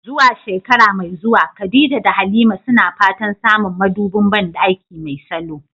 Zuwa shekara mai zuwa, Khadija da Halima suna fatan samun madubin bandaki mai salo.